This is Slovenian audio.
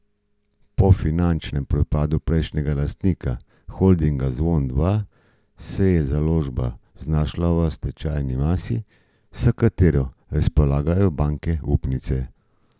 Po finančnem propadu prejšnjega lastnika, holdinga Zvon dva, se je založba znašla v stečajni masi, s katero razpolagajo banke upnice.